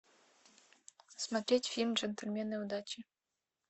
смотреть фильм джентльмены удачи